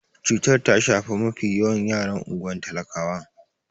Cutar ta shafi mafi yawan yaran unguwar talakawan.